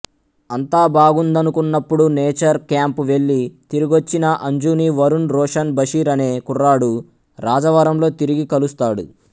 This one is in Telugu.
అంతా బాగుందనుకున్నప్పుడు నేచర్ క్యాంప్ వెళ్ళి తిరిగొచ్చిన అంజుని వరుణ్ రోషన్ బషీర్ అనే కుర్రాడు రాజవరంలో తిరిగి కలుస్తాడు